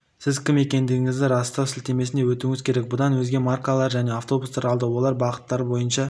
сіз кім екендігіңізді растау сілтемесіне өтуіңіз керек бұдан өзгео маркалы жаңа автобустар алды олар бағыттары бойынша